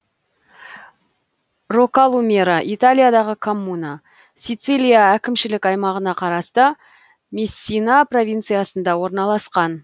роккалумера италиядағы коммуна сицилия әкімшілік аймағына қарасты мессина провинциясында орналасқан